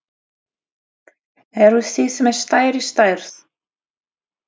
Eruð þið með stærri stærð?